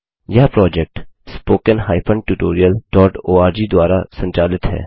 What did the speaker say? यह project httpspoken tutorialorg द्वारा संचालित है